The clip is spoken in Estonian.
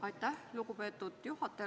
Aitäh, lugupeetud juhataja!